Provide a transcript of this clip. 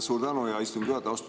Suur tänu, hea istungi juhataja!